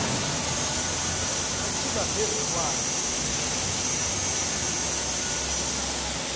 atsiba phezu kwakhe